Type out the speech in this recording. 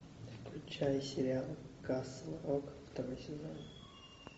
включай сериал касл рок второй сезон